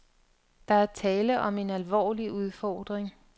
Der er tale om en alvorlig udfordring.